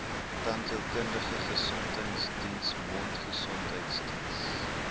tandheelkundige gesondheidsdiens mondgesondheidsdiens